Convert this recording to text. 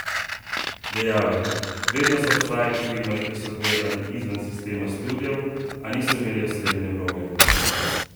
Dejal je: "Vedno so obstajali filmarji, ki so delali izven sistema studiev, a niso imeli osrednje vloge.